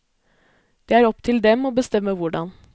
Det er opp til dem å bestemme hvordan.